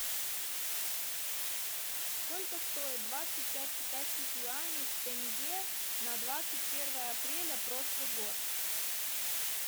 сколько стоит двадцать пять китайских юаней в тенге на двадцать первое апреля прошлый год